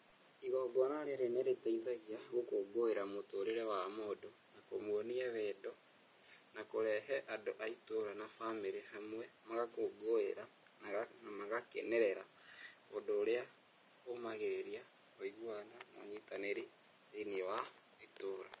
Igongona rĩrĩa nĩ rĩteithagia gũkũngũĩra mũtũrĩre wa mũndũ, na kũmuonia wendo, na kũrehe andũ a itũũra na bamĩrĩ hamwe, magakũngũĩra na magakenerera, ũndũ ũrĩa ũmagĩrĩria wũiguano na ũnyitanĩri thĩiniĩ wa itũũra.